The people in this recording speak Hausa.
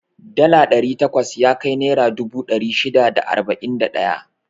Dala ɗari takwas yakai naira dubu ɗari shida da arba'in da ɗaya.